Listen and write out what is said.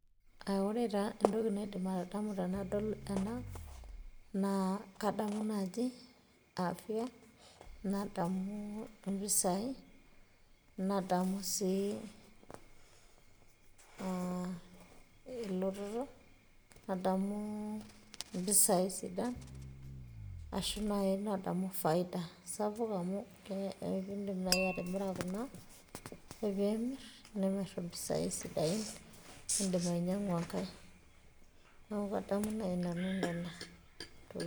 ore taa entoki naidim atodamu tenadol ena. naa kadamu naaji afia, nadamu mpisai, nadamu sii elototo, nadamu mpisai sidan, ashu nadau naaji faida, amu idim naaji atimira kuna, ore pee imir nimir impisai sidain nidim ainyiangu enkae, neeku kadamu naaji nanu nena.